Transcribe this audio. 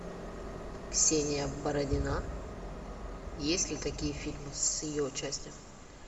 ксения бородина есть ли такие фильмы с ее участием